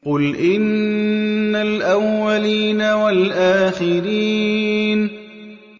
قُلْ إِنَّ الْأَوَّلِينَ وَالْآخِرِينَ